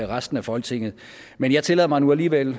resten af folketinget men jeg tillader mig nu alligevel